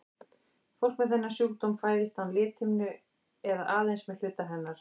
Fólk með þennan sjúkdóm fæðist án lithimnu eða aðeins með hluta hennar.